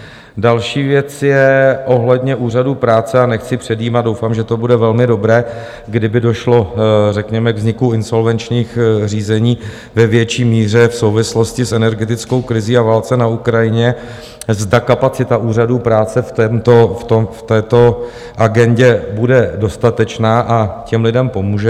Další věc je ohledně úřadů práce, a nechci předjímat, doufám, že to bude velmi dobré, kdyby došlo řekněme k vzniku insolvenčních řízení ve větší míře v souvislosti s energetickou krizí a válce na Ukrajině, zda kapacita úřadů práce v této agendě bude dostatečná a těm lidem pomůže.